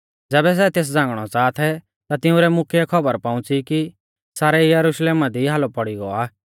ज़ैबै सै तेस झ़ांगणौ च़ाहा थै ता तिंउरै मुख्यै कै खौबर पौउंच़ी कि सारै यरुशलेमा दी हालौ पौड़ी गौ आ